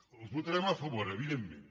els ho votarem a favor evidentment